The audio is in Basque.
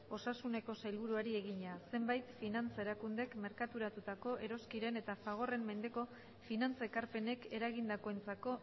osasuneko sailburuari egina zenbait finantza erakundek merkaturatutako eroskiren eta fagorren mendeko finantza ekarpenek eragindakoentzako